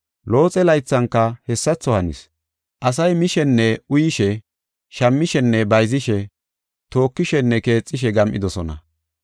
Looxe laythanka hessatho hanis. Asay mishenne uyishe, shammishenne bayzishe, tokishenne keexishe, gam7idosona.